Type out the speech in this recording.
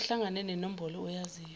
kuhlangane nenombolo oyaziyo